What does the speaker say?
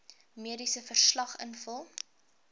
mediese verslag invul